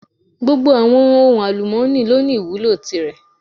Gbogbo àwọn ohun àlùmọ́ni lọ ní ìwúlò tìrẹ.